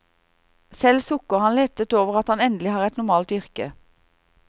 Selv sukker han lettet over at han endelig har et normalt yrke.